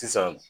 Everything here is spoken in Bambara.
Sisan